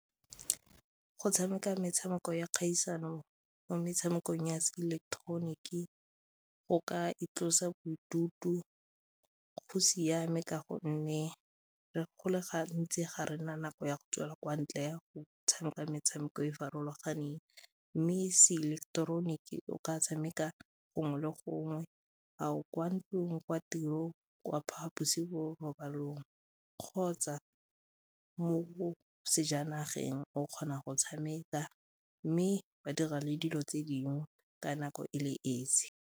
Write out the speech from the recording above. Go tshameka metshameko ya kgaisano mo metshamekong ya seileketeroniki, o ka itlosa bodutu go siame ka gonne re go le gantsi ga rena nako ya go tswela kwa ntle ya go tshameka metshameko e e farologaneng mme seileketeroniki o ka tshameka gongwe le gongwe, a o kwa ntle gongwe kwa tirong, kwa phaposing borobalong kgotsa mo sejanageng o kgona go tshameka mme wa dira le dilo tse dingwe ka nako e le esi.